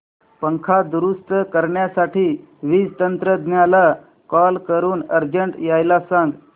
पंखा दुरुस्त करण्यासाठी वीज तंत्रज्ञला कॉल करून अर्जंट यायला सांग